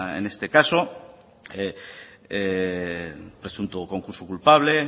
en este caso presunto concurso culpable